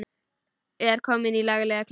Er komin í laglega klípu.